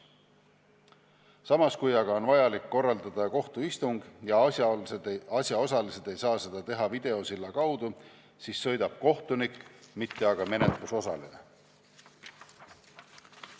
Samas, kui on vaja korraldada kohtuistung ja asjaosalised ei saa seda teha videosilla kaudu, siis sõidab kohtunik, mitte menetlusosaline.